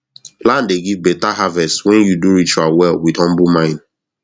land dey give better harvest when you do ritual well with humble mind